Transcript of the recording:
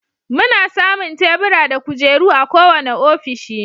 Muna samun Tebura da kujeru a kowane ofishi.